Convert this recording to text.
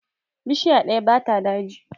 Bishiya ɗaya ba ta daji.